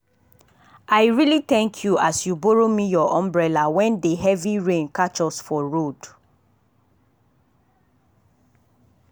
i really thank you as you borrow me your umbrella when that heavy rain catch us for road